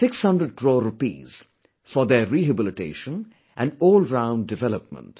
600 crores for their rehabilitation and allround development